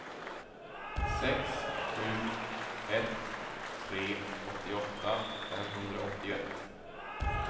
sex sju ett tre åttioåtta femhundraåttioett